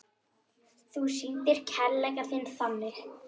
Þú sýndir kærleik þinn þannig.